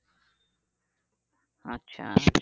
আচ্ছা